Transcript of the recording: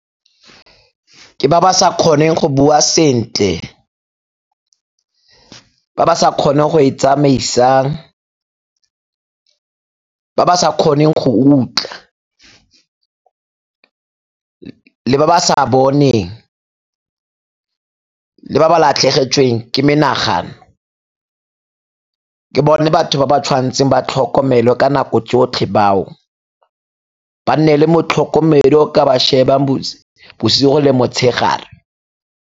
Ke ba ba sa kgoneng go bua sentle, ba ba sa kgone go itsamaisang, ba ba sa kgoneng go utlwa le ba ba sa boneng le ba ba latlhegetsweng ke menagano ke bone batho ba ba tshwantseng ba tlhokomelwe ka nako tsotlhe bao. Ba nne le motlhokomedi yo o ka ba shebang bosigo le motshegare.